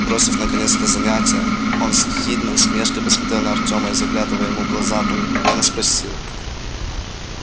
бросив наконец это занятие он с ехидной усмешкой посмотрел на артема и заглядывая ему в глаза проникновенно спросил